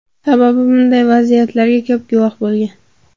Sababi bunday vaziyatlarga ko‘p guvoh bo‘lgan.